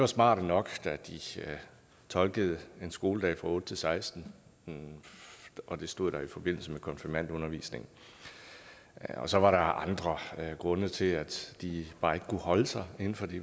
smarte nok da de tolkede en skoledag fra otte til sekstende det det stod der i forbindelse med konfirmationsundervisningen så var der andre grunde til at de bare ikke kunne holde sig inden for det